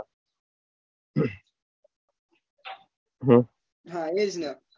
હા એ જ ને